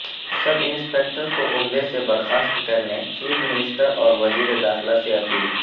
سب inspector کو عہدہ سے برخاست کرنے چیف منسٹر اور وزیر داخلہ سے اپیل